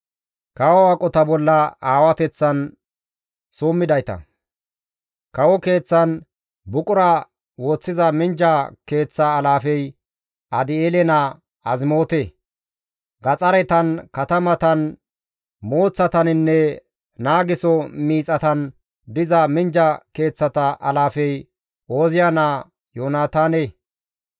Kawo keeththan buqura woththiza minjja keeththa alaafey Adi7eele naa Azimoote. Gaxaretan, katamatan, mooththataninne naageso miixatan diza minjja keeththata alaafey Ooziya naa Yoonataane.